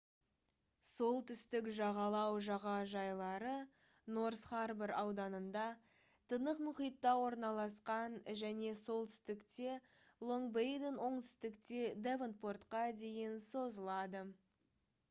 солтүстік жағалау жағажайлары норс харбор ауданында тынық мұхитта орналасқан және солтүстікте лонг-бейден оңтүстікте девонпортқа дейін созылады